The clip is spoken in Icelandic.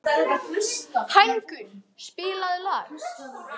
Hængur, spilaðu lag.